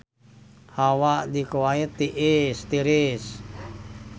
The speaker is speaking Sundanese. Hawa di Kuwait tiris